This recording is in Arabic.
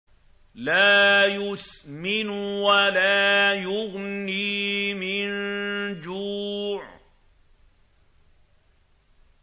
لَّا يُسْمِنُ وَلَا يُغْنِي مِن جُوعٍ